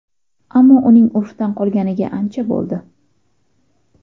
Ammo uning urfdan qolganiga ancha bo‘ldi.